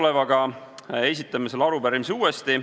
Nüüd esitame selle arupärimise uuesti.